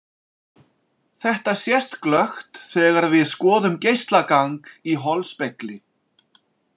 Þetta sést glöggt þegar við skoðum geislagang í holspegli.